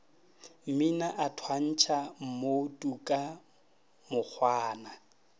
mmina a thwantšha mmotuka mokgwana